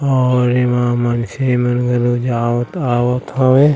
और एमा मन से मन आवत हवे।